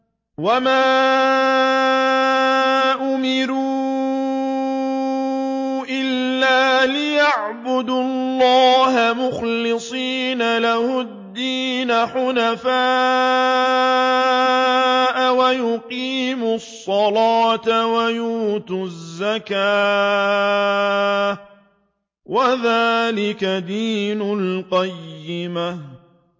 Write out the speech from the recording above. وَمَا أُمِرُوا إِلَّا لِيَعْبُدُوا اللَّهَ مُخْلِصِينَ لَهُ الدِّينَ حُنَفَاءَ وَيُقِيمُوا الصَّلَاةَ وَيُؤْتُوا الزَّكَاةَ ۚ وَذَٰلِكَ دِينُ الْقَيِّمَةِ